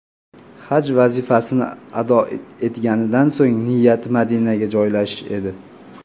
Haj vazifasini ado etganidan so‘ng niyati Madinaga joylashish edi.